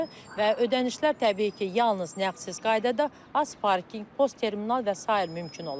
Və ödənişlər təbii ki, yalnız nağdsız qaydada AzParkinq, postterminal və sair mümkün olacaqdır.